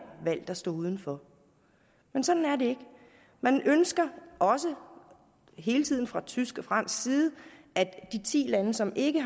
valgt at stå uden for men sådan er det ikke man ønsker også hele tiden fra tysk og fransk side at de ti lande som ikke